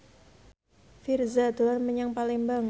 Virzha dolan menyang Palembang